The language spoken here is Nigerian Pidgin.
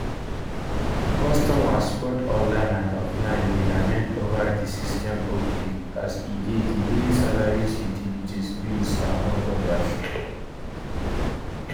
customers both online and offline dey lament ova di system upgrade as e dey delay salaries utilities bills among odas